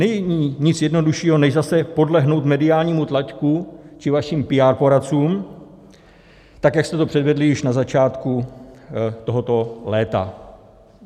Není nic jednoduššího, než zase podlehnout mediálnímu tlaku či vašim PR poradcům, tak jak jste to předvedli již na začátku tohoto léta.